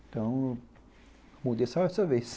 Então, mudei só essa vez.